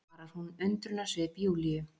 svarar hún undrunarsvip Júlíu.